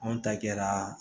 Anw ta kɛra